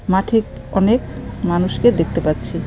মাঠে অনেক মানুষকে দেখতে পাচ্ছি .